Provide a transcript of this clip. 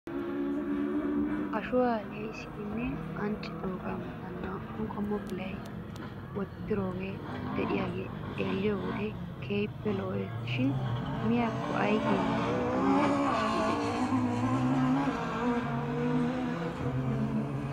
Ashuwaa lee'issidinne anccidoogaa mata naa'u qommo pilaa wottidoogaara de'iyaagee xeelliyoo wode keehippe lo'es shin miyaakko aykeenaa mal'anaw de'es giidetii .